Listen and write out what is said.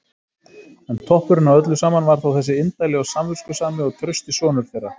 En toppurinn á öllu saman var þó þessi indæli og samviskusami og trausti sonur þeirra!